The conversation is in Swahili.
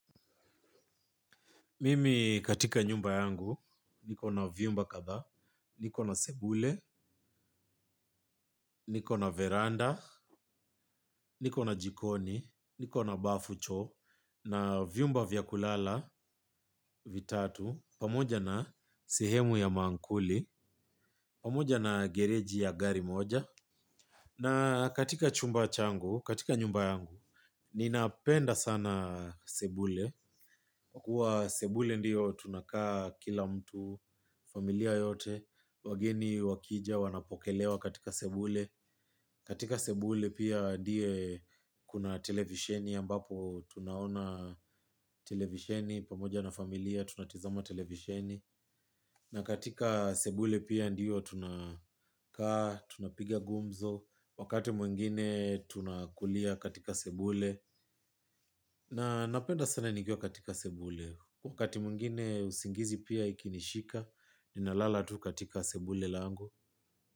Mimi katika nyumba yangu, niko na vyumba kadha, niko na sebule, niko na veranda, niko na jikoni, niko na bafu choo, na vyumba vya kulala, vitatu, pamoja na sehemu ya maankuli, pamoja na gereji ya gari moja. Na katika chumba changu, katika nyumba yangu, ninapenda sana sebule. Kwa sebule ndiyo tunakaa kila mtu, familia yote, wageni wakija wanapokelewa katika sebule. Katika sebule pia ndiye kuna televisheni ambapo tunaona televisheni pamoja na familia tunatizama televisheni. Na katika sebule pia ndiyo tunakaa, tunapiga gumzo. Wakati mwingine tunakulia katika sebule. Na napenda sana nikiwa katika sebule. Wakati mwingine usingizi pia ikinishika, ninalala tu katika sebule langu.